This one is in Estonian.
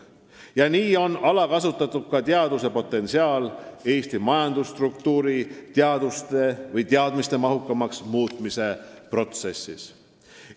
Ja nii on alakasutatud ka teaduse potentsiaal Eesti majandusstruktuuri teadmistemahukamaks muutmise protsessis.